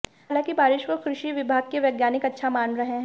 हालांकि बारिश को कृषि विभाग के वैज्ञानिक अच्छा मान रहे हैं